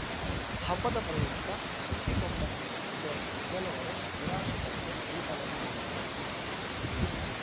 ಹಬ್ಬದ ಪ್ರಯುಕ್ತ ಸುಂಟಿಕೊಪ್ಪ ಸೇರಿದಂತೆ ಕೆಲವೆಡೆ ನಿರಾಶ್ರಿತರಿಗೆ ಊಟವನ್ನು ನೀಡಲಾಯಿತು